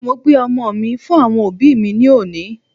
Mo gbé ọmọ mí fún àwọn òbí mí ní òní